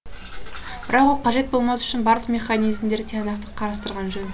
бірақ ол қажет болмас үшін барлық механизмдерді тиянақты қарастырған жөн